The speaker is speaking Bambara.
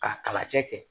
K'a kala cɛ kɛ